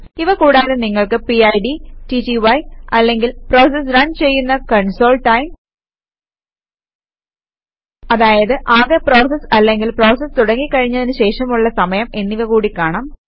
ഇവ കൂടാതെ നിങ്ങൾക്ക് പിഡ് ടിടിവൈ അല്ലങ്കിൽ പ്രോസസ് റൺ ചെയ്യുന്ന കൺസോൾTIME അതായത് ആകെ പ്രോസസ് അല്ലെങ്കിൽ പ്രോസസ് തുടങ്ങി കഴിഞ്ഞതിനു ശേഷമുള്ള സമയം എന്നിവ കൂടി കാണാം